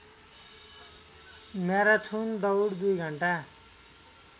marathon दौड २ घण्टा